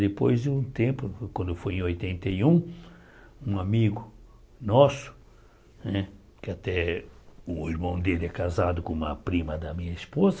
Depois de um tempo, quando eu fui em oitenta e um, um amigo nosso né, que até o irmão dele é casado com uma prima da minha esposa,